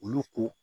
Olu ko